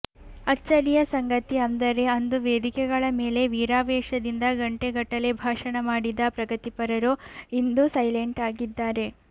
ಅಚ್ಚರಿಯ ಸಂಗತಿ ಅಂದರೆ ಅಂದು ವೇದಿಕೆಗಳ ಮೇಲೆ ವೀರಾವೇಶದಿಂದ ಗಂಟೆಗಟ್ಟಲೇ ಭಾಷಣ ಮಾಡಿದ್ದ ಪ್ರಗತಿಪರರು ಇಂದು ಸೈಲಾಂಟಾಗಿದ್ದಾರೆ